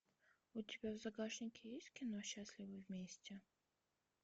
у тебя в загашнике есть кино счастливы вместе